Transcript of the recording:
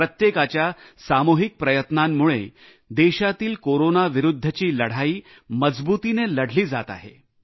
प्रत्येकाच्या सामुहिक प्रयत्नांमुळे देशातील कोरोनाविरुद्धची लढाई मजबुतीने लढली जात आहे